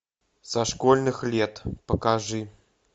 со школьных лет покажи